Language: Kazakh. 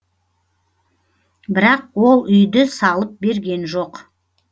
бірақ ол үйді салып берген жоқ